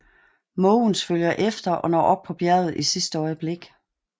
Måvens følger efter og når op på bjerget i sidste øjeblik